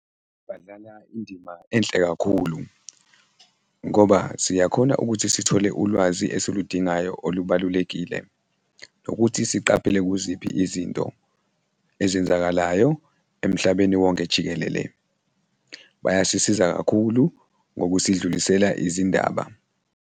Badlala indima enhle kakhulu ngoba siyakhona ukuthi sithole ulwazi esiludingayo olubalulekile nokuthi siqaphele kuziphi izinto ezenzakalayo emhlabeni wonke jikelele. Bayasisiza kakhulu ngokusidlulisela izindaba.